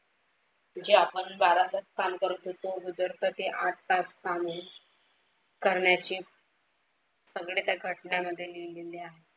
जे आपण बारा तास काम करत होतो ते आठ तास काम होईल करण्याचे सगळे त्या घटनेमध्ये लिहिलेले आहे.